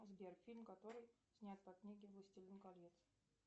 сбер фильм который снят по книге властелин колец